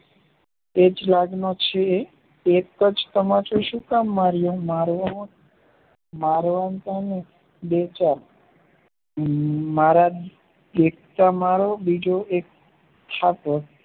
એજ લાગનો છે એક જ તમાચો સુ કામ માર્યો મારવાતાં ને બેચાર હમ મારા દેખતા મારો બીજો એક છાપો